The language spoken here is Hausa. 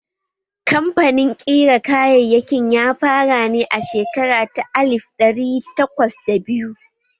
Kamfanin ƙira kayayyakin ya fara ne a shekara ta alif ɗari takwas da biyu